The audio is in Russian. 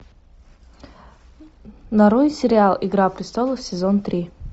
нарой сериал игра престолов сезон три